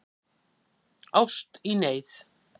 Ást í neyð